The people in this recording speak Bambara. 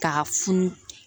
K'a funu